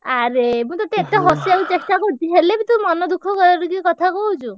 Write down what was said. ଆରେ ମୁଁ ତତେ ଏତେ ହସେଇଆକୁ ଚେଷ୍ଟା କରୁଚି ହେଲେ ବି ତୁ ମନ ଦୁଃଖ କରିକି କଥା କହୁଛୁ।